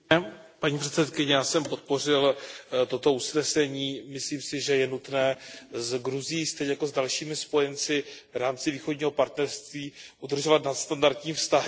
Paní předsedající, já jsem podpořil toto usnesení, myslím si, že je nutné s Gruzií stejně jako s dalšími spojenci v rámci Východního partnerství udržovat nadstandardní vztahy.